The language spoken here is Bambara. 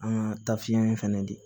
An ka tafiya in fɛnɛ de